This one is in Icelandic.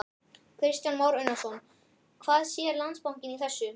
Kristján Már Unnarsson: Hvað sér Landsbankinn í þessu?